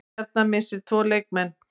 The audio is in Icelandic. Stjarnan missir tvo leikmenn